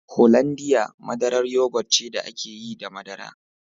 Hollandia madarar yogut ce da ake yi da madara